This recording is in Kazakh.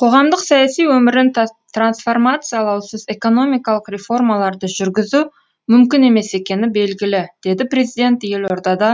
қоғамдық саяси өмірін трансформациялаусыз экономикалық реформаларды жүргізу мүмкін емес екені белгілі деді президент елордада